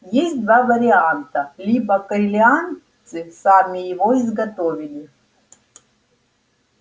есть два варианта либо корелианцы сами его изготовили